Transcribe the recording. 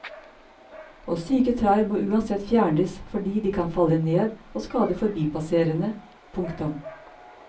Og syke trær må uansett fjernes fordi de kan falle ned og skade forbipasserende. punktum